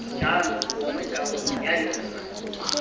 jalo gongwe karolo ya yona